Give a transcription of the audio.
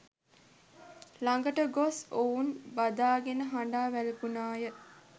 ළඟට ගොස් ඔවුන් බදාගෙන හඬා වැළපුණාය